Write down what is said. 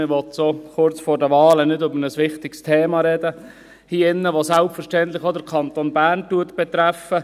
Man will so kurz vor den Wahlen hier drin nicht über ein wichtiges Thema sprechen, das selbstverständlich auch den Kanton Bern betrifft.